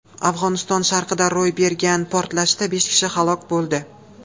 Afg‘oniston sharqida ro‘y bergan portlashda besh kishi halok bo‘ldi.